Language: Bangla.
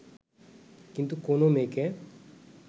কিন্তু কোনও মেয়েকে